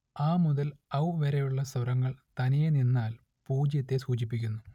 അ മുതൽ ഔ വരെയുള്ള സ്വരങ്ങൾ തനിയേ നിന്നാൽ പൂജ്യത്തെ സൂചിപ്പിക്കുന്നു